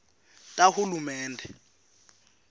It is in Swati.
tahulumende